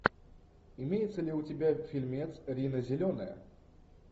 имеется ли у тебя фильмец рина зеленая